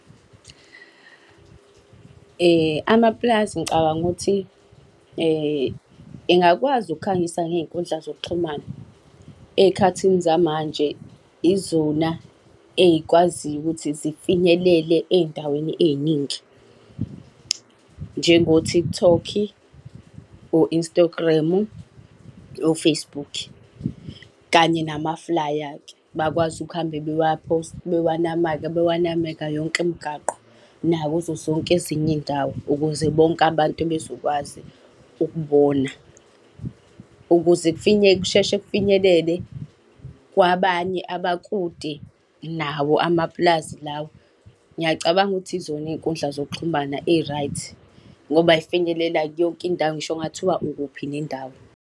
Amapulazi ngicabanga ukuthi engakwazi ukukhangisa ngey'nkundla zokuxhumana. Ey'khathini zamanje, izona ey'kwaziyo ukuthi zifinyelele ey'ndaweni ey'ningi. Njengo-TikTok, o-Instagram, o-Facebook kanye namaflaya-ke, bakwazi ukuhambe bewanameka, bewanameka yonke imgwaqo, nakuzo zonke ezinye iy'ndawo ukuze bonke abantu bezokwazi ukubona. Ukuze kusheshe kufinyelele kwabanye abakude nawo amapulazi lawo, ngiyacabanga ukuthi yizona iy'nkundla zokuxhumana eyi-right. Ngoba zifinyelela yonke indawo ngisho kungathiwa ukuphi nendawo.